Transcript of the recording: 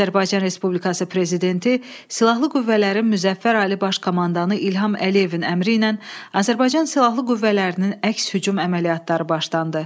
Azərbaycan Respublikası Prezidenti Silahlı Qüvvələrin Müzəffər Ali Baş Komandanı İlham Əliyevin əmri ilə Azərbaycan silahlı qüvvələrinin əks-hücum əməliyyatları başlandı.